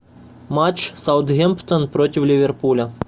матч саутгемптон против ливерпуля